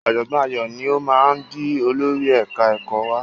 Ọ̀jọ̀gbọ́n Ayọ̀ ni ó máa di olórí ẹ̀ka ẹ̀kọ́ wa.